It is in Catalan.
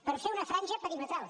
per fer una franja perimetral